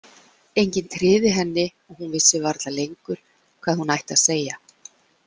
Enginn tryði henni og hún vissi varla lengur hvað hún ætti að segja